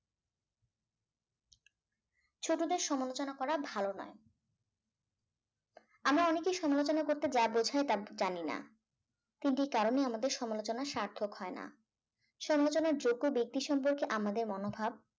ছোটদের সমালোচনা করা ভালো নয় আমরা অনেকেই সমালোচনা করতে যা বোঝায় তা জানি না তিনটি কারণে আমাদের সমালোচনা সার্থক হয় না সমালোচনার যোগ্য ব্যক্তি সম্পর্কে আমাদের মনোভাব